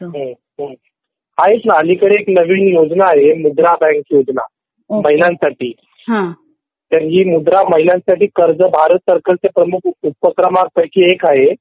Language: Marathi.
ह्मम हमम ऐक ना अलीकडे एक योजना आलिये मुद्रा बँक योजना महिलांसाठी तर ही मुद्रा कर्ज भारत सरकार च्या उपक्रमा पैकी एक आहे